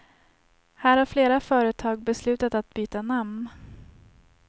Här har flera företag beslutat att byta namn.